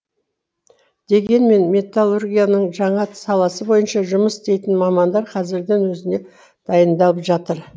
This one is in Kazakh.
дегенмен металлургияның жаңа саласы бойынша жұмыс істейтін мамандар қазірдің өзінде дайындалып жатыр